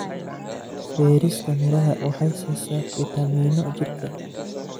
Beerista miraha waxay siisaa fiitamiino jirka.